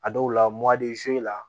A dɔw la la